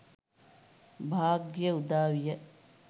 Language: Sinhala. භාග්‍යය උදාවිය.